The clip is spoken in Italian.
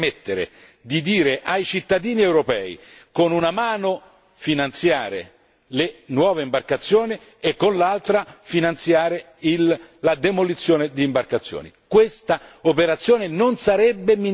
Penso che l'Europa oggi non si possa permettere di dire ai cittadini europei che, con una mano, finanziare le nuove imbarcazioni e, con l'altra, finanziare la demolizione di imbarcazioni.